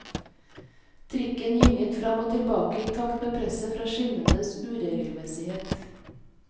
Trikken gynget fram og tilbake i takt med presset fra skinnenes uregelmessighet.